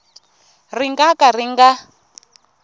ri nga ka ri nga